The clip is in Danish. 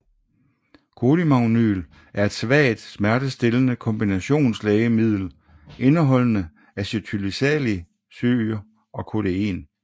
Kodimagnyl er et svagt smertestillende kombinationslægemiddel indeholdende acetylsalicylsyre og kodein